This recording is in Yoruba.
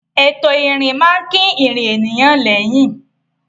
Ètò ìrìn máa ń kín ìrìn ènìyàn lẹ́yìn.